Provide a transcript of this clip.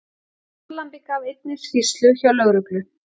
Fórnarlambið gaf einnig skýrslu hjá lögreglu